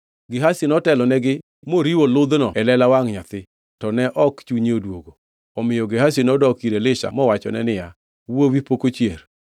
Gehazi notelonigi moriwo ludhno e lela wangʼ nyathi, to ne ok chunye odwogo. Omiyo Gehazi nodok ir Elisha mowachone niya, “Wuowi pok ochier.”